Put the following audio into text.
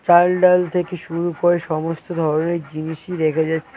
চাল ডাল থেকে শুরু করে সমস্ত ধরনের জিনিসই রেখে যাচ--